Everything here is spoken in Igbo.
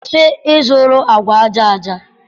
kwụsị ịzụrụ agwa aja aja!